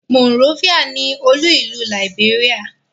Monrovia ni olú-ìlú Liberia.